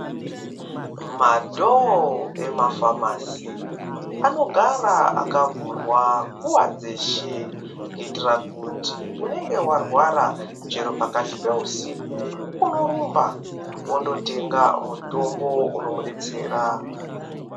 Madhowo emafamasi, anogara akavhurwa nguwa dzeshe, kuyitira kuti unenge warwara chero pakati peusiku, unorumba wondotenga mutombo unomudetsera.